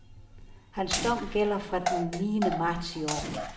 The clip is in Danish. Hans dom gælder fra den niende marts i år.